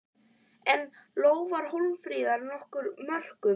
En lofar Hólmfríður nokkrum mörkum?